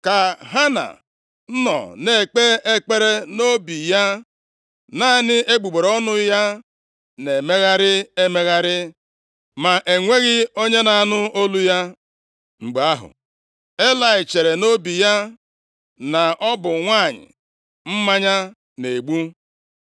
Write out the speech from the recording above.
Ka Hana nọ na-ekpe ekpere nʼobi ya, naanị egbugbere ọnụ ya na-emegharị emegharị, ma enweghị onye na-anụ olu ya. Mgbe ahụ, Elayị chere nʼobi ya na ọ bụ nwanyị mmanya na-egbu.